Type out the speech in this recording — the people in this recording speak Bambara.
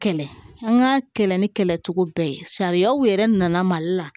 Kɛlɛ an ka kɛlɛ ni kɛlɛ cogo bɛɛ ye sariyaw yɛrɛ nana mali la